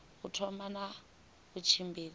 u thoma na u tshimbidza